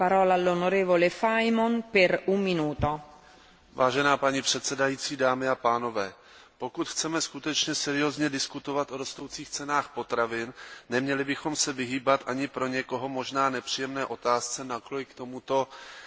Paní předsedající, pokud chceme skutečně seriózně diskutovat o rostoucích cenách potravin, neměli bychom se vyhýbat ani pro někoho možná nepříjemné otázce, nakolik tomuto negativnímu vývoji Evropská unie sama napomáhá.